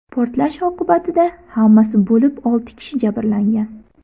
Portlash oqibatida hammasi bo‘lib olti kishi jabrlangan.